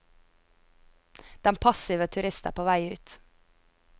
Den passive turist er på vei ut.